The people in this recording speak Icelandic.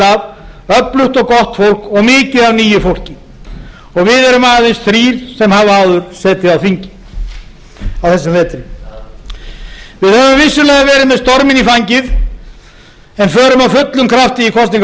af öflugt og gott fólk og mikið af nýju fólki við erum aðeins þrír sem höfum áður setið á þingi á þessum vetri við höfum vissulega verið með storminn í fangið en förum af fullum krafti í kosningabaráttuna